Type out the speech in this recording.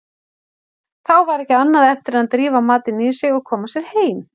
Þá var ekki annað eftir en drífa matinn í sig og koma sér heim.